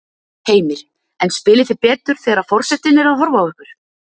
Heimir: En spilið þið betur þegar að forsetinn er að horfa á ykkur?